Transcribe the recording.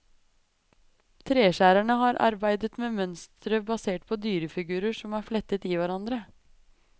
Treskjæerne har arbeidet med mønstre basert på dyrefigurer som er flettet i hverandre.